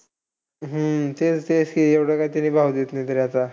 हम्म अं तेच, तेच. CA एवढं तरी काय भाव देत नाही आता.